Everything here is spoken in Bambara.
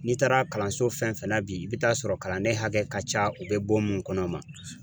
N'i taara kalanso fɛn fɛn na bi, i bɛ taa sɔrɔ kalanden hakɛ ka ca u bɛ bon mun kɔnɔ